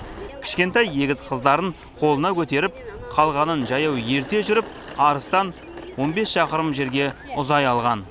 кішкенай егіз қыздарын қолына көтеріп қалғанын жаяу ерте жүріп арыстан он бес шақырым жерге ұзай алған